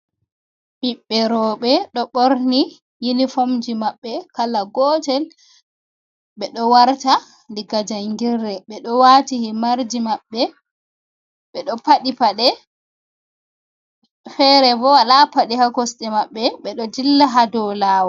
Ɓiɓɓe rowɓe ɗo ɓorni yunifomji maɓɓe kala gootel ɓe ɗo warta diga janngirde ɓe ɗo waati himarji maɓɓe ɓe ɗo paɗɗi paɗe feere boo walaa paɗe haa kosɗe maɓɓe ɓe ɗo dilla haa dow laawol.